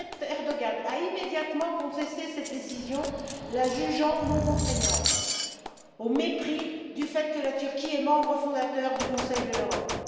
Recep Erdoğan a immédiatement contesté cette décision, la jugeant non contraignante, au mépris du fait que la Turquie est membre fondateur du Conseil de l'Europe.